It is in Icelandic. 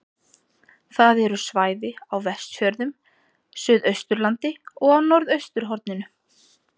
Það eru svæði á Vestfjörðum, Suðausturlandi og á norðausturhorninu.